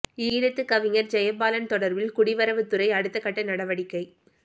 ஈழத்துக் கவிஞர் ஜெயபாலன் தொடர்பில் குடிவரவுத் துறை அடுத்த கட்ட நடவடிக்கை